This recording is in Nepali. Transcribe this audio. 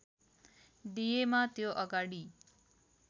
दिएमा त्यो अगाडि